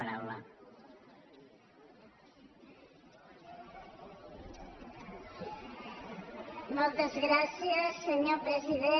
moltes gràcies senyor president